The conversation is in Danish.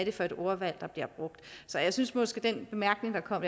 er for et ordvalg der bliver brugt så jeg synes måske den bemærkning der kom